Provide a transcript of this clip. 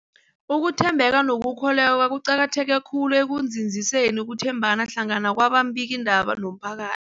Ukuthembeka nokukholweka kuqakatheke khulu ekunzinziseni ukuthembana hlangana kwababikiindaba nomphaka